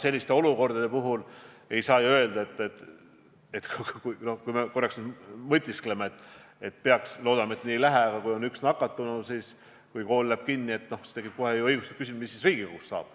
Mõtleme korraks järgmise olukorra peale: kui on üks nakatunu ja kool läheb kinni, siis tekib kohe õigustatud küsimus, mis saaks